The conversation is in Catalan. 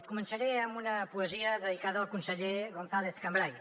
començaré amb una poesia dedicada al conseller gonzàlez cambray